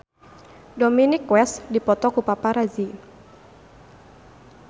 Dominic West dipoto ku paparazi